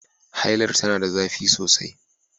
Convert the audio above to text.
Hailar tana da zafi sosai